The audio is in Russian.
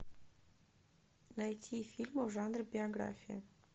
найти фильм в жанре биография